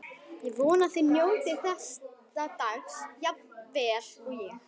Ég vona þið njótið þessa dags jafn vel og ég.